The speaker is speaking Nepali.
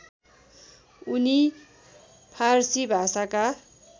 उनी फारसी भाषाका